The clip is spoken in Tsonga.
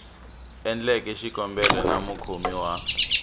endleke xikombelo na mukhomi wa